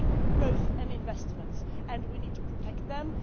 They bring growth and investments and we need to protect them.